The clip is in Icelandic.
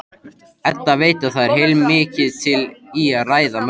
Edda veit að það er heilmikið til í ræðu mömmu.